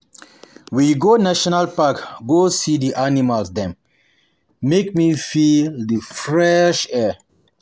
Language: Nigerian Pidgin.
We go go national park go see di animals dem, make we feel di fresh air.